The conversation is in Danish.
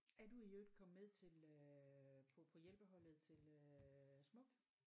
Er du i øvrigt kommet med til øh på på hjælpeholdet til øh smuk?